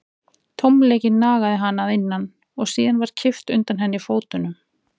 Tómleikinn nagaði hana að innan og síðan var kippt undan henni fótunum.